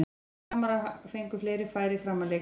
Framarar fengu fleiri færi fram að leikhléi.